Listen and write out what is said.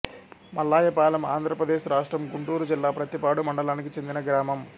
మల్లాయపాలెం ఆంధ్ర ప్రదేశ్ రాష్ట్రం గుంటూరు జిల్లా ప్రత్తిపాడు మండలానికి చెందిన గ్రామం